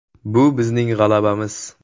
Bu bizning g‘alabamiz.